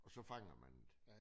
Og så fanger man det